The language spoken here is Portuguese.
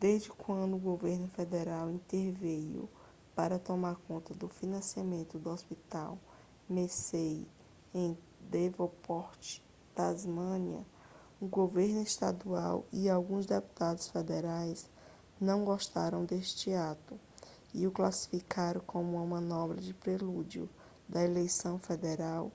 desde quando o governo federal interveio para tomar conta do financiamento do hospital mersey em devonport tasmânia o governo estadual e alguns deputados federais não gostaram desse ato e o classificaram como uma manobra no prelúdio da eleição federal